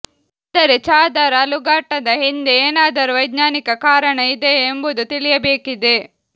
ಆದರೆ ಚಾದರ್ ಅಲುಗಾಟದ ಹಿಂದೆ ಏನಾದರೂ ವೈಜ್ಞಾನಿಕ ಕಾರಣ ಇದೆಯಾ ಎಂಬುದು ತಿಳಿಯಬೇಕಿದೆ